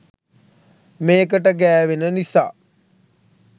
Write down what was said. මේකට ගෑවෙන නිසා